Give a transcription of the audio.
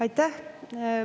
Aitäh!